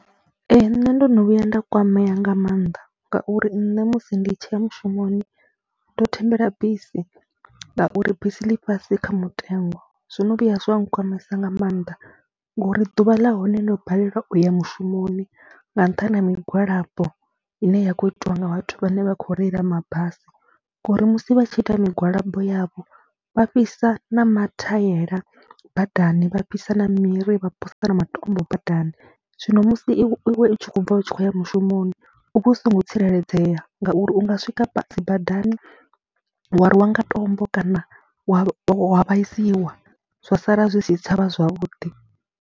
Ee, nṋe ndo no vhuya nda kwamea nga maanḓa ngauri nne musi ndi tshi ya mushumoni ndo thembela bisi ngauri bisi ḽi fhasi kha mutengo. Zwo no vhuya zwa nkwamesa nga maanḓa ngori ḓuvha ḽa hone ndo balelwa u ya mushumoni nga nṱhani ha migwalabo ine ya khou itiwa nga vhathu vhane vha khou reila mabasi ngori musi vha tshi ita migwalabo yavho vha fhisa na mathaela badani, vha fhisa na miri, vha posa na matombo badani. Zwino musi i iwe u tshi khou bva u tshi khou ya mushumoni u vha u songo tsireledzea ngauri u nga swika dzi badani wa rwiwa nga tombo kana wa wa vhaisiwa zwa sala zwi si tsha vha zwavhuḓi.